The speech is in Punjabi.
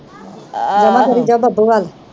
ਜਮਾ ਕਰੀ ਜਾ ਬੱਬੂ ਵਲ